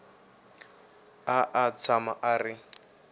a a tshama a ri